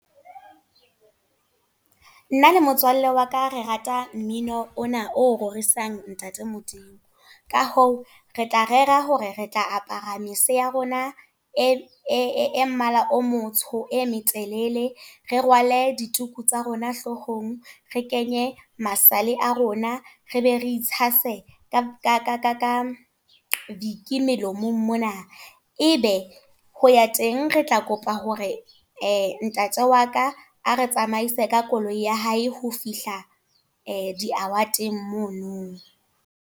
Nna le motswalle waka re rata mmino, ona o rorisang ntate Modimo. Ka hoo, re tla rera hore re tla apara mese ya rona e mmala o motsho e metelele. Re rwale dituku tsa rona hloohong, re kenye masale a rona. Re be re itshase ka viki melomong mona. E be ho ya teng, re tla kopa hore ntate wa ka a re tsamaise ka koloi ya hae, ho fihla di award-eng mono.